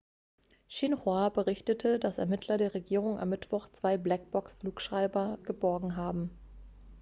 xinhua berichtete dass ermittler der regierung am mittwoch zwei black box -flugschreiber geborgen haben